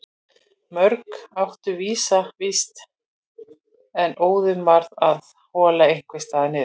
Mörg áttu vísa vist en öðrum varð að hola einhvers staðar niður.